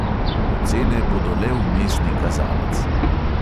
Ocene bodo le vmesni kazalec.